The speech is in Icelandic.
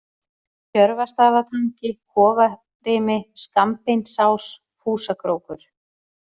Tjörvastaðatangi, Kofarimi, Skammbeinsás, Fúsakrókur